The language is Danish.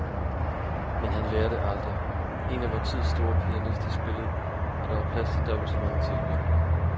Men han lærer det aldrig. En af vor tids store pianister spillede, og der var plads til dobbelt så mange tilhørere.